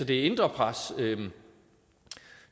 det indre pres